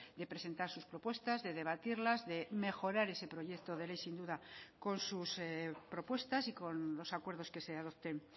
de presentar sus propuestas de debatirlas de mejorar ese proyecto de ley sin duda con sus propuestas y con los acuerdos que se adopten